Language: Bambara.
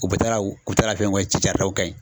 U bɛ taa u taara kɛ yen